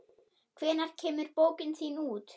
Hvenær kemur bókin þín út?